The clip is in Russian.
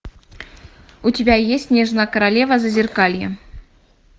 у тебя есть снежная королева зазеркалье